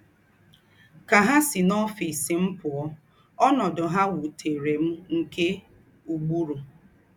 Kà ha sì n’ọ́fìs m pụ̀ọ́, ọ̀nọ́dù ha wútèrè m nke ùgbùrù.